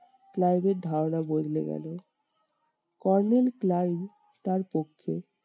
ক্লাইভের ধারণা বদলে গেলো। kornel ক্লাইভ তার পক্ষে